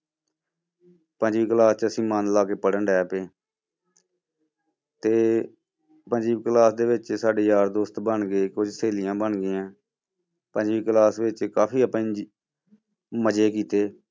ਪੰਜਵੀਂ class 'ਚ ਅਸੀਂ ਮਨ ਲਾ ਕੇ ਪੜ੍ਹਨ ਲੱਗ ਪਏ ਤੇ ਪੰਜਵੀਂ class ਦੇ ਵਿੱਚ ਸਾਡੇ ਯਾਰ ਦੋਸਤ ਬਣ ਗਏ ਕੋਈ ਸਹੇਲੀਆਂ ਬਣ ਗਈਆਂ, ਪੰਜਵੀਂ class ਵਿੱਚ ਕਾਫ਼ੀ ਆਪਾਂ ਮਜ਼ੇ ਕੀਤੇ